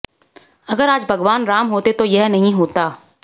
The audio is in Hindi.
अगर आज भगवान राम होते तो यह नहीं होता